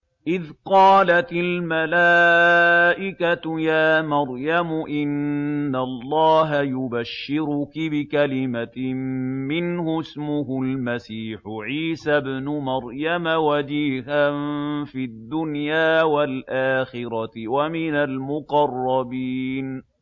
إِذْ قَالَتِ الْمَلَائِكَةُ يَا مَرْيَمُ إِنَّ اللَّهَ يُبَشِّرُكِ بِكَلِمَةٍ مِّنْهُ اسْمُهُ الْمَسِيحُ عِيسَى ابْنُ مَرْيَمَ وَجِيهًا فِي الدُّنْيَا وَالْآخِرَةِ وَمِنَ الْمُقَرَّبِينَ